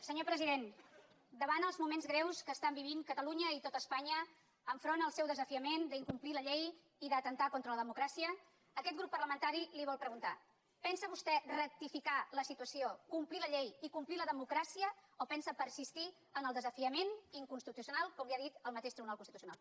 senyor president davant els moments greus que estan vivint catalunya i tot espanya enfront al seu desafiament d’incomplir la llei i d’atemptar contra la democràcia aquest grup parlamentari li vol preguntar pensa vostè rectificar la situació complir la llei i complir la democràcia o pensa persistir en el desafiament inconstitucional com li ha dit el mateix tribunal constitucional